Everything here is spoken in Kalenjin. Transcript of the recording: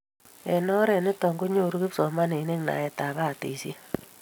Eng' oret nitok ko nyoru kipsomanik naet ab batishet